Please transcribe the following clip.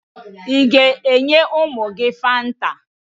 Ị ga-enye ụmụ gị Fanta?